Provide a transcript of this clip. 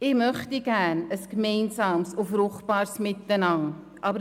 Ich möchte gerne ein gemeinsames und fruchtbares Miteinander haben.